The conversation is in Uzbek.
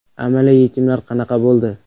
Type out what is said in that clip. Amaliy yechimlar qanaqa bo‘ldi?